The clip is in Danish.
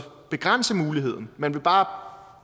begrænse muligheden man vil bare